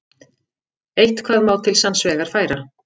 Eitthvað má til sanns vegar færa